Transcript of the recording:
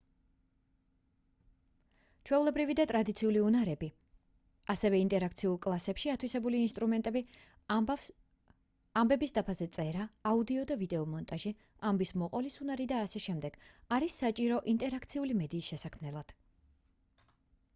ჩვეულებრივი და ტრადიციული უნარები ასევე ინტერაქციულ კლასებში ათვისებული ინსტრუმენტები ამბების დაფაზე წერა აუდიო და ვიდეო მონტაჟი ამბის მოყოლის უნარი და აშ არის საჭირო ინტერაქციული მედიის შესაქმნელად